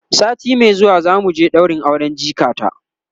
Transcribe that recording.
sati Mai zuwa zamu je ɗaurin auren jikata